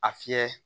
A fiyɛ